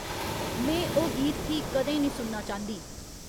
में ओह् गीत फ्ही कदें नेईं सुनना चांह्दी